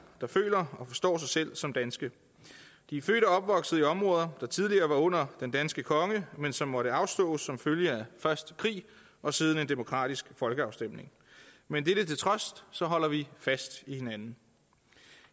føler og forstår sig selv som danske de er født og opvokset i områder der tidligere var under den danske konge men som måtte afstås som følge af først krig og siden en demokratisk folkeafstemning men dette til trods holder vi fast i hinanden